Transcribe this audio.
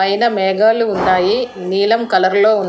పైన మేఘాలు ఉన్నాయి నీలం కలర్ లో ఉం--